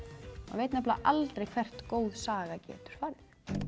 veit aldrei hvert góð saga getur farið